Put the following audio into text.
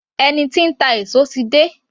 Ẹni tí ń ta èso ti dé